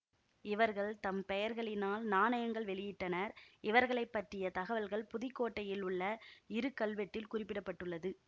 இவர்கள் தம் பெயர்களினால் நாணயங்கள் வெளியிட்டனர் இவர்களை பற்றிய தகவல்கள் புதுக்கோட்டையில் உள்ள இரு கல்வெட்டில் குறிப்பிட பட்டுள்ளது